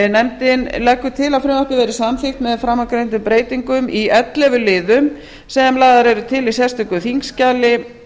nefndin leggur til að frumvarpið verði samþykkt með framangreindum breytingum í ellefu liðum sem lagðar eru til í sérstöku þingskjali